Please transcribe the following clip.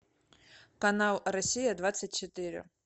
канал россия двадцать четыре